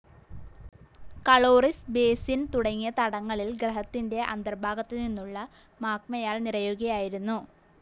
Caloris basin തുടങ്ങിയ തടങ്ങളിൽ ഗ്രഹത്തിന്റെ അന്തർഭാഗത്തുനിന്നുള്ള മാഗ്മയാൽ നിറയുകയായിരുന്നു.